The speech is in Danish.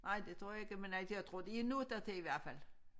Nej det tror jeg ikke men altså jeg tror de er nået dertil i hvert fald